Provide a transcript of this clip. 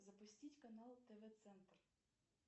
запустить канал тв центр